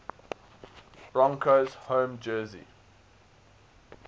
broncos home jersey